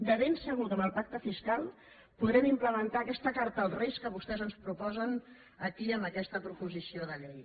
de ben segur que amb el pacte fiscal podrem implementar aquesta carta als reis que vostès ens proposen aquí en aquesta pro·posició de llei